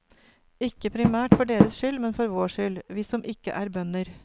Ikke primært for deres skyld, men for vår skyld, vi som ikke er bønder.